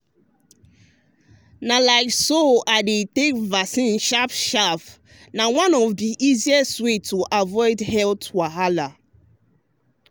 like so to dey take vaccine sharp sharp na one of the easiest way to avoid health wahala.